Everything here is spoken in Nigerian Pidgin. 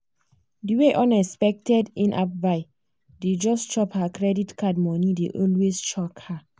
di way unexpected in-app buy dey just chop her credit card money dey always shock her.